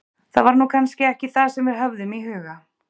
Það var nú kannski ekki það sem við höfðum í huga.